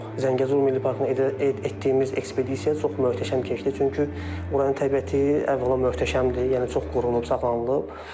Zəngəzur Milli Parkında etdiyimiz ekspedisiya çox möhtəşəm keçdi, çünki oranın təbiəti əvvəla möhtəşəmdir, yəni çox qorunub, saxlanılıb.